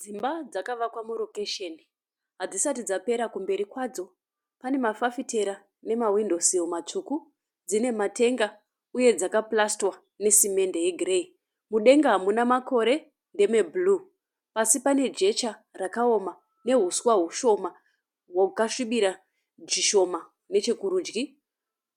Dzimba dzakavakwa murokesheni. Hadzisati dzapera kumberi kwadzo. Pane mafafitera nemahwindo siri matsvuku. Dzine matenga uye dzakapurasitwa nesimende yegireyi. Mudenga hamuna makore ndeme bhuruwu. Pasi pane jecha rakaoma nehuswa hwashoma, hwakasvibira zvishoma nechekurudyi.